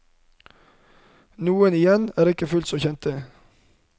Noen igjen er ikke fullt så kjente.